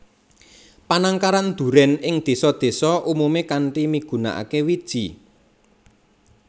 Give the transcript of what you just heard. Panangkaran durèn ing désa désa umumé kanthi migunakaké wiji